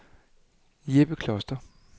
Jeppe Kloster